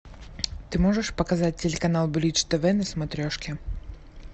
ты можешь показать телеканал бридж тв на смотрешке